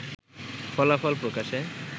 ফলাফল প্রকাশে